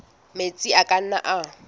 metsi a ka nnang a